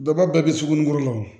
Bɛɛ b'a bɛɛ bɛ sugunɛko la wa